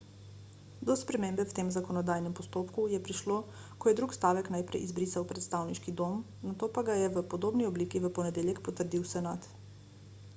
do spremembe v tem zakonodajnem postopku je prišlo ko je drugi stavek najprej izbrisal predstavniški dom nato pa ga je v podobni obliki v ponedeljek potrdil senat